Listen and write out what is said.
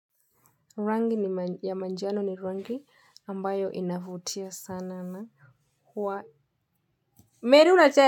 Rangi ya manjano ni rangi ambayo inavutia sana na huwa.